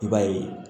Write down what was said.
I b'a ye